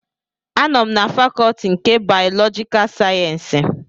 Anọ m na fakọtị nke bayọlọjika sayensịs